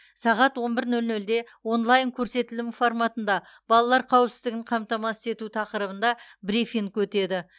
сағат он бір нөл нөлде онлайн көрсетілім форматында балалар қауіпсіздігін қамтамасыз ету тақырыбында брифинг өтеді